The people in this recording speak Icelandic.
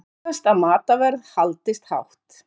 Óttast að matarverð haldist hátt